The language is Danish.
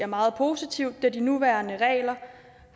meget positivt da de nuværende regler